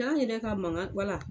Ta n yɛrɛ ka mangan wala